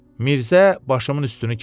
Mirzə başımın üstünü kəsmişdi.